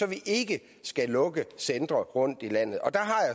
vi ikke skal lukke centre rundt i landet